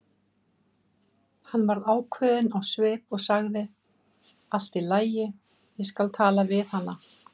Hann varð ákveðinn á svip og sagði: Allt í lagi, ég skal tala við hana